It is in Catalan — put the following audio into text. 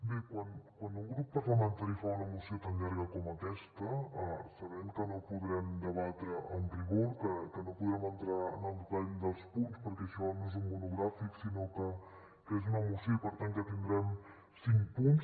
bé quan un grup parlamentari fa una moció tan llarga com aquesta sabem que no podrem debatre amb rigor que no podrem entrar en el detall dels punts perquè això no és un monogràfic sinó que és una moció i per tant que tindrem cinc punts